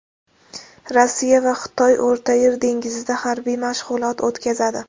Rossiya va Xitoy O‘rtayer dengizida harbiy mashg‘ulot o‘tkazadi.